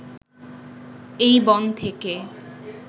এই বন থেকে